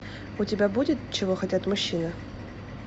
у тебя будет чего хотят мужчины